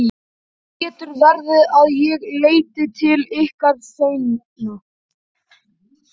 Það getur verið að ég leiti til ykkar seinna.